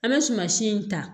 An bɛ sumansi in ta